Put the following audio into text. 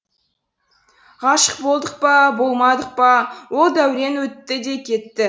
ғашық болдық па болмадық па ол дәурен өтті де кетті